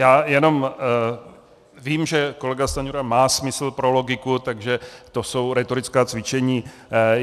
Já jenom vím, že kolega Stanjura má smysl pro logiku, takže to jsou rétorická cvičení.